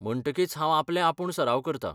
म्हणटकीच हांव आपले आपूण सराव करतां.